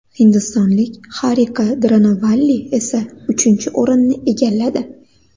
Hindistonlik Xarika Dronovalli esa uchinchi o‘rinni egalladi.